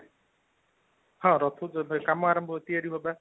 ହଁ ରଥ ଯେବେ କାମ ଆରମ୍ଭ ହେଉଛି ତିଆରି ହେବା